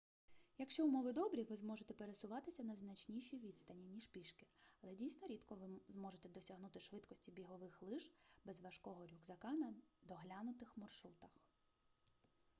якщо умови добрі ви зможете пересуватися на значніші відстані ніж пішки але дійсно рідко ви зможете досягнути швидкості бігових лиж без важкого рюкзака на доглянутих маршрутах